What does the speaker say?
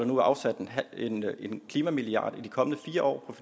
nu er afsat en klimamilliard over de kommende fire år